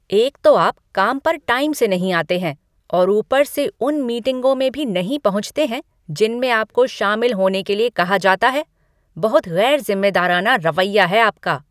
एक तो आप काम पर टाइम से नहीं आते हैं और ऊपर से उन मीटिंगों में भी नहीं पहुँचते हैं जिनमें आपको शामिल होने के लिए कहा जाता है। बहुत गैरज़िम्मेदाराना रवैया है आपका।